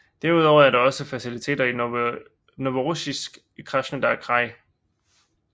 Derudover er der også faciliteter i Novorossijsk i Krasnodar kraj